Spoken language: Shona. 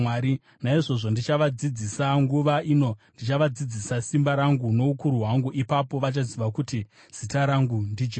“Naizvozvo ndichavadzidzisa, nguva ino ndichavadzidzisa simba rangu noukuru hwangu. Ipapo vachaziva kuti zita rangu ndiJehovha.